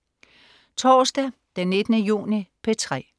Torsdag den 19. juni - P3: